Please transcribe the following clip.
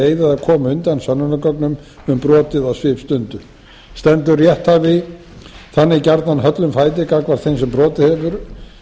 eyða eða koma undan sönnunargögnum um brotið á svipstundu stendur rétthafi þannig gjarnan höllum fæti gagnvart þeim sem brotið hefur